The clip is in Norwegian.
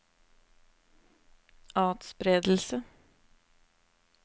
atspredelse